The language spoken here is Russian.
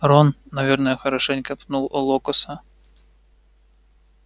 рон наверное хорошенько пнул локоса